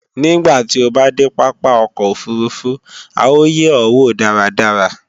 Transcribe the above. Nígbàtí o bá dé pápá ọkọ̀ òfurufú à ó yè ó wò dáradára